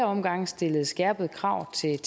omgange stillet skærpede krav til